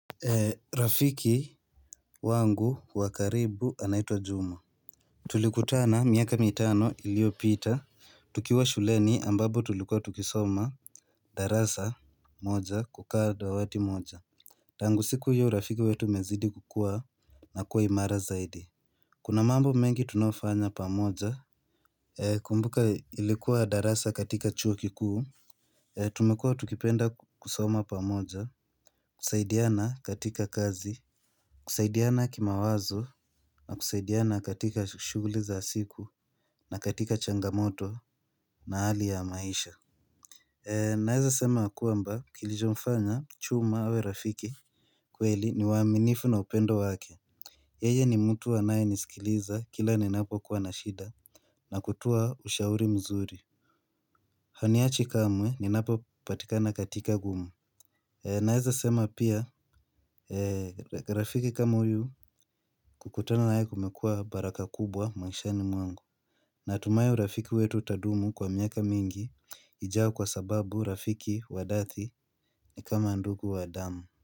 Rafiki wangu wa karibu anaitwa Juma. Tulikutana miaka mitano iliyo pita. Tukiwa shuleni ambapo tulikuwa tukisoma darasa moja kukaa dawati moja. Tangu siku hiyo urafiki wetu umezidi kukua na kuwa imara zaidi. Kuna mambo mengi tunayofanya pamoja. Kumbuka ilikuwa darasa katika chuo kikuu. Tumekua tukipenda kusoma pa moja. Kusaidiana katika kazi. Kusaidiana kima wazo na kusaidiana katika shuguli za siku na katika changamoto na hali ya maisha. Naeza sema kwamba kilichomfanya chuma awe rafiki kweli ni waminifu na upendo wake yeye ni mtu anayeniskiliza kila ninapokuwa na shida na kutuwa ushauri mzuri haniachi kamwe ninapopatikana katika gumu. Naeza sema pia rafiki kama huyu kukutana nae kumekuwa baraka kubwa maishani mwangu. Natumai urafiki wetu utadumu kwa miaka mingi ijayo kwa sababu rafiki wadathi ni kama ndugu wa damu.